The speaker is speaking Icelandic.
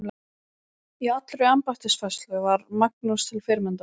Í allri embættisfærslu var Magnús til fyrirmyndar.